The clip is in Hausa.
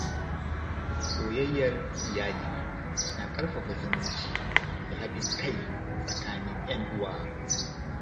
Soyayyar iyali na ƙarfafa zumunci da haɗin kai tsakanin ‘yan uwa.